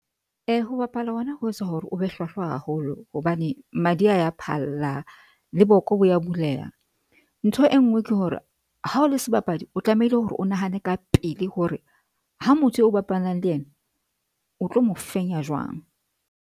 Ho bapala hona ho etsa hore o be hlwahlwa haholo hobane madi a ya phalla le boko bo ya buleha. Ntho e nngwe ke hore ha o le sebapadi, o tlamehile hore o nahane ka pele hore ha motho eo bapalang le yena o tlo mo fenya jwang.